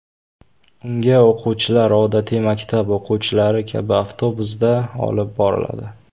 Unga o‘quvchilar odatiy maktab o‘quvchilari kabi avtobusda olib boriladi .